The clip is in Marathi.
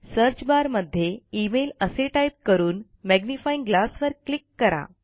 सर्च barमध्ये इमेल असे टाईप करून मॅग्निफाइंग ग्लास वर क्लिक करा